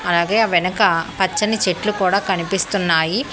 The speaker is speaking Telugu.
అలాగే ఆ వెనక పచ్చని చెట్లు కూడా కనిపిస్తున్నాయి.